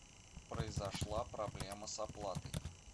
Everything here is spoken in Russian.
произошла проблема с оплатой